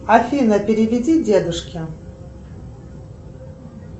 афина переведи дедушке